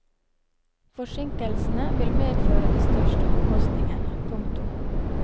Forsinkelsene vil medføre de største omkostningene. punktum